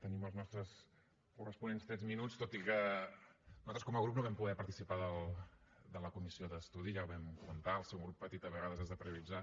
tenim els nostres corresponents tres minuts tot i que nosaltres com a grup no vam poder participar de la comissió d’estudi ja ho vam comentar al ser un grup petit a vegades has de prioritzar